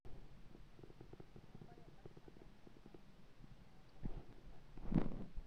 ore olchamba na keitanyanyikie enyuata we engiriata